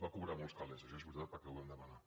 va cobrar molts calés això és veritat perquè ho vam demanar